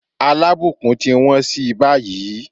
Alábùkún ti wọ́n sí báyìí.